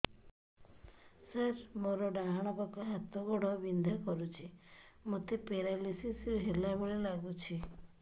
ସାର ମୋର ଡାହାଣ ପାଖ ହାତ ଗୋଡ଼ ବିନ୍ଧା କରୁଛି ମୋତେ ପେରାଲିଶିଶ ହେଲା ଭଳି ଲାଗୁଛି